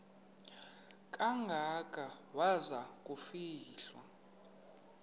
kangaka waza kufihlwa